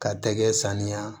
Ka tɛgɛ saniya